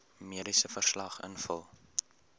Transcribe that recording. mediese verslag invul